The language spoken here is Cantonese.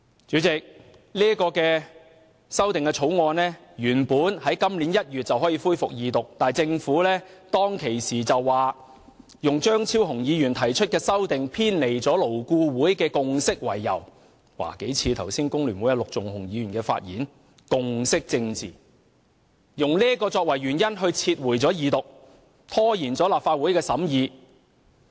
主席，《條例草案》原本在今年1月便可恢復二讀，但政府當時卻以張超雄議員提出的修正案偏離勞工顧問委員會的共識為由——這與工聯會陸頌雄議員剛才發言時提及的共識政治很相似——撤回《條例草案》，使其無法二讀，拖延了立法會的審議。